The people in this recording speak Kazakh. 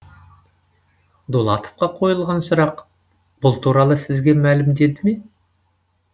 дулатовқа қойылған сұрақ бұл туралы сізге мәлімдеді ме